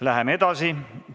Läheme edasi.